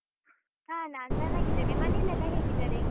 ಹಾ ನಾನ್ ಚನ್ನಾಗಿದ್ದೇನೆ, ಮನೆಯಲ್ಲೆಲ್ಲ ಹೇಗಿದ್ದಾರೆ?